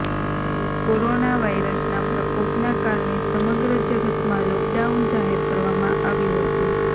corona વાઇરસના પ્રકોપના કારણે સમગ્ર જગતમાં લોકડાઉન જાહેર કરવામાં આવ્યું હતું